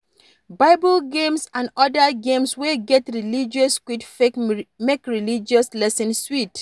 Bible games and oda games wey get religious quiz fit make religious lesson sweet